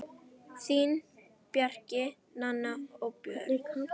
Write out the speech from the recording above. Þín, Bjarki, Nanna og Björn.